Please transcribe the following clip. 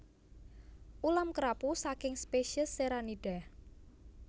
Ulam kerapu saking spesies Serranidae